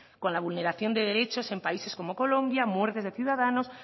con la vulneración de derechos en países como colombia muertes de ciudadanos